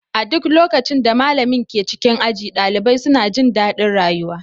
A duk lokacin da malamin ke cikin aji, ɗalibai suna jin daɗin rayuwa.